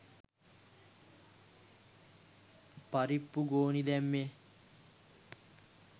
පරිප්පු ගෝනි දැම්මෙ.